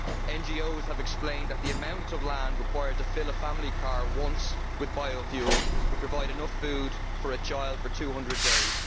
NGOs have explained that the amount of land required to fill a family car once with biofuel would provide enough food for a child for 200 days.